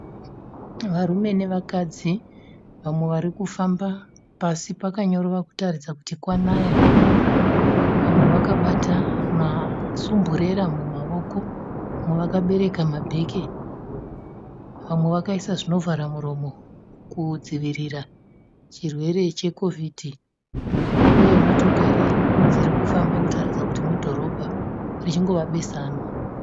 Varume nevakadzi vamwe varikufamba pasi pakanyorova kuratidza kuti kwanaya, vamwe vakabata masumburera mumaoko, vamwe vakabereka mabheke, vamwe vakaisa zvino vhara muromo kudzivirira chirwere cheCovid, uye motokari dziri kufamba kuratidza kuti mudhorobha richingova besanwa.